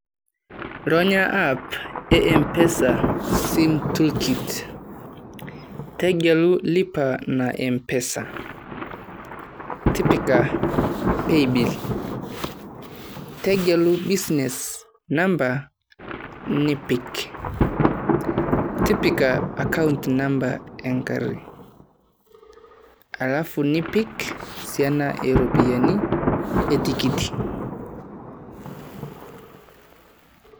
Ronya app ee M-pesa Sim tool kit, tegelu lipa na Mpsea tipika paybill , tegelu business number nipik, tipika account number engarri, Alfu nipik Siana eeropiani etikit.